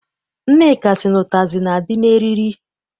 Nneka sị na ụtazị na- adị n'eriri.